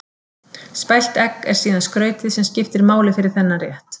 Spælt egg er síðan skrautið sem skiptir máli fyrir þennan rétt.